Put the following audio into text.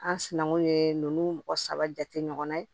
An sinankun ye nunnu mɔgɔ saba jate ɲɔgɔn na ye